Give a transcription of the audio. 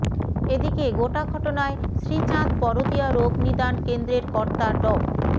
এদিকে গোটা ঘটনায় শ্রীচাঁদ বরদিয়া রোগ নিদান কেন্দ্রের কর্তা ড